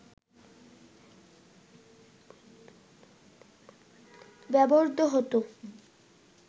ব্যবহৃত হতো